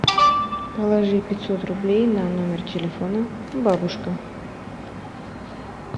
положи пятьсот рублей на номер телефона бабушка